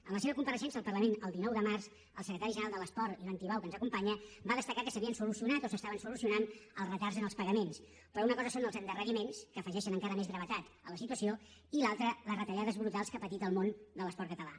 en la seva compareixença al parlament el dinou de març el secretari general de l’esport ivan tibau que ens acompanya va destacar que s’havien solucionat o s’estaven solucionant els retards en els pagaments però una cosa són els endarreriments que afegeixen encara més gravetat a la situació i l’altra les retallades brutals que ha patit el món de l’esport català